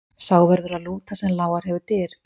Sá verður að lúta sem lágar hefur dyr.